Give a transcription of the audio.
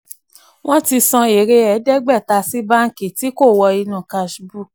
wọ́n ti san èrè ẹ̀ẹ́dẹ́gbẹ̀ta sí báǹkì tí kò wọ inú cash book.